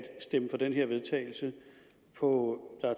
stemme for det her vedtagelse hvor